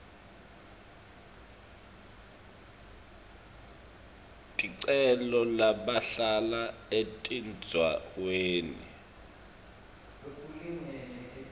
ticelo labahlala etindzaweni